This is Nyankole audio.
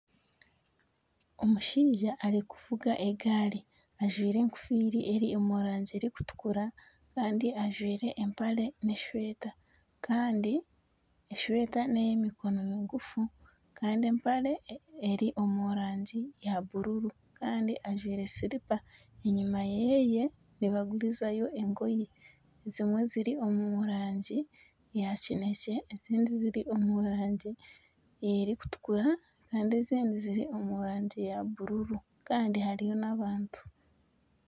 Omushaija arikuvuga egaari ajwaire ekofiira eri omu rangi erikutukura kandi ajwaire empare n'esweeta kandi esweeta ney'emikono miguufu kandi empare eri omu rangi ya bururu kandi ajwaire silipa enyima yeeye nibagurizayo engoyi ezimwe ziri omu rangi ya kinekye ezindi ziri omu rangi erikutukura kandi ezindi ziri omu rangi ya buruuru kandi hariyo n'abantu.